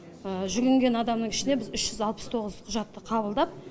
жүгінген адамның ішінде біз үш жүз алпыс тоғыз адамның құжатын қабылдап